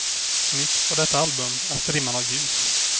Nytt på detta album är strimman av ljus.